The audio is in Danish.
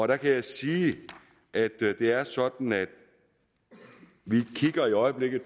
der kan jeg sige at det er sådan at vi i øjeblikket